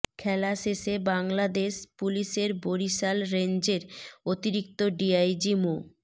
খেলা শেষে বাংলাদেশ পুলিশের বরিশাল রেঞ্জের অতিরিক্ত ডিআইজি মো